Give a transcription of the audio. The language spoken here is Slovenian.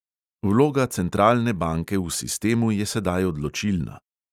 Vloga centralne banke v sistemu je sedaj odločilna.